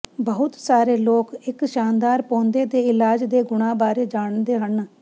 ਬਹੁਤ ਸਾਰੇ ਲੋਕ ਇਕ ਸ਼ਾਨਦਾਰ ਪੌਦੇ ਦੇ ਇਲਾਜ ਦੇ ਗੁਣਾਂ ਬਾਰੇ ਜਾਣਦੇ ਹਨ